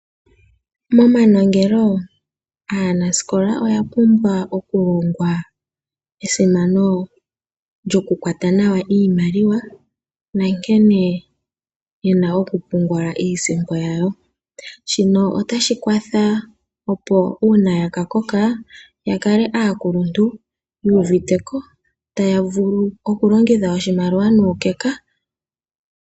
Momanongelo aanasikola oya pumbwa okulongwa esimano lyoku kwata nawa iimaliwa na nkene yena oku pungula iisimpo yawo, shino otashi kwatha opo uuna yaka koka ya kale aakuluntu yu uviteko taya vulu okulongitha oshimaliwa nuukeka.